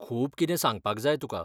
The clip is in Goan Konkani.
खूब कितें सांगपाक जाय तुका.